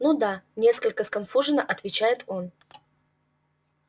ну да несколько сконфуженно отвечает он